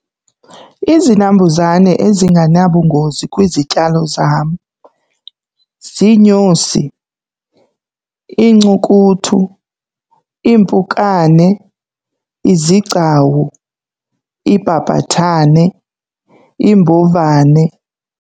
Izinambuzane ezinganabungozi kwizityalo zam ziinyosi, iincukuthu, iimpukane, izigcawu, iibhabhathane, iimbovane.